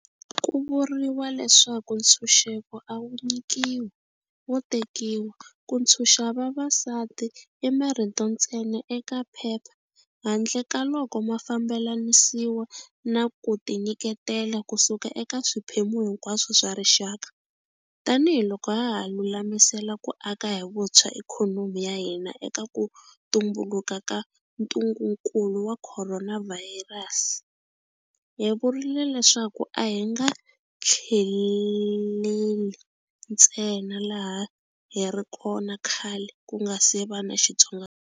Ku vuriwa leswaku ntshuxeko a wu nyikiwi, wo tekiwa. Ku ntshuxa vavasati i marito ntsena eka phepha handle ka loko ma fambelanisiwa na kutinyiketela kusuka eka swiphemu hinkwaswo swa rixaka. Tanihi loko haha lulamisela ku aka hi vuntshwa ikhonomi ya hina eka ku tumbuluka ka ntungunkulu wa khoronavhayirasi, hi vurile leswaku a hi nga tlheleli ntsena laha hi ri kona khale kungasi va na xitsongwa.